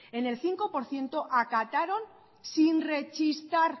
en el cinco por ciento acataron sin rechistar